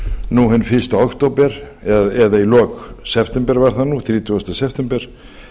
nú hinn fyrsta október eða í lok september var það nú þrjátíu september